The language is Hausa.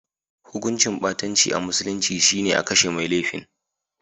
Hukuncin ɓatanci a musulunci shi ne a kashe mai laifin.